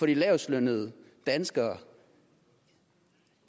de lavestlønnede danskere